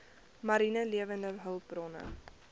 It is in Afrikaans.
mariene lewende hulpbronne